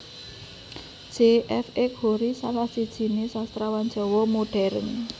J F X Hoery salah sijiné Sastrawan Jawa Modern